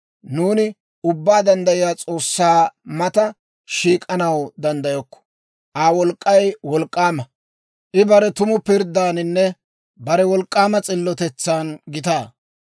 «Nuuni Ubbaa Danddayiyaa S'oossaa mata shiik'anaw danddayokko; Aa wolk'k'ay wolk'k'aama. I bare tumu pirddaaninne bare wolk'k'aama s'illotetsan gitaa.